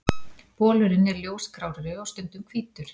Bolurinn er ljósgrárri og stundum hvítur.